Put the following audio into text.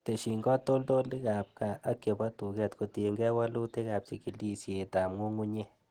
Tesyin katoltolikab gaa ak chebo tuket kotiengei wolutikab chikilisietab ng'ung'unyek.